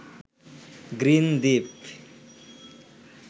green Dwip